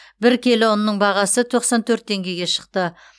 бір келі ұнның бағасы тоқсан төрт теңгеге шықты